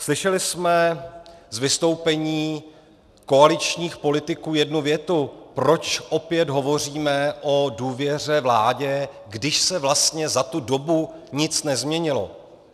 Slyšeli jsme z vystoupení koaličních politiků jednu větu, proč opět hovoříme o důvěře vládě, když se vlastně za tu dobu nic nezměnilo.